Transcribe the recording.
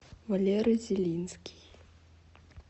валера зелинский